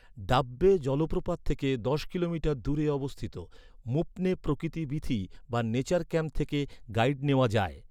ডাব্বে জলপ্রপাত থেকে দশ কিলোমিটার দূরে অবস্থিত, মুপ্নে প্রকৃতি বীথি বা নেচার ক্যাম্প থেকে গাইড নেওয়া যায়।